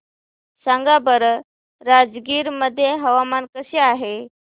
सांगा बरं राजगीर मध्ये हवामान कसे आहे